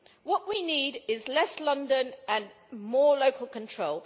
What we need is less London and more local control.